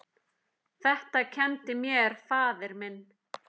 Þetta kenndi mér faðir minn.